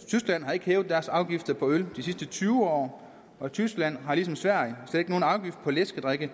i tyskland har de ikke hævet deres afgifter på øl de sidste tyve år og tyskland har ligesom sverige slet ikke nogen afgift på læskedrikke